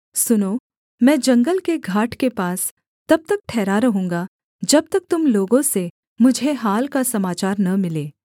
सुनो मैं जंगल के घाट के पास तब तक ठहरा रहूँगा जब तक तुम लोगों से मुझे हाल का समाचार न मिले